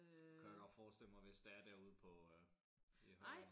Kunne jeg godt forestille mig hvis det er derude på øh i Hem